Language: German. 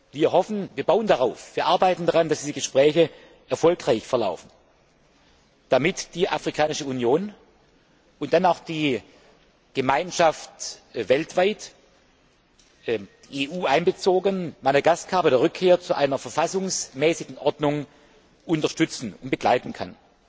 Wir hoffen, wir bauen darauf und wir arbeiten daran, dass diese Gespräche erfolgreich verlaufen, damit die Afrikanische Union und dann auch die Gemeinschaft weltweit, einschließlich der EU, Madagaskar bei der Rückkehr zu einer verfassungsmäßigen Ordnung unterstützen und begleiten kann.